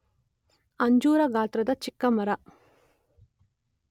ಅಂಜೂರ ಗಾತ್ರದ ಚಿಕ್ಕ ಮರ.